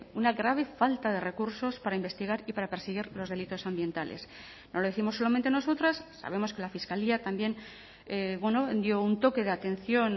una grave falta de recursos para investigar y para perseguir los delitos ambientales no lo décimos solamente nosotras sabemos que la fiscalía también dio un toque de atención